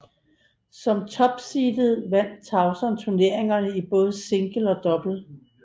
Som topseedet vandt Tauson turneringen i både single og double